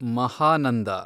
ಮಹಾನಂದ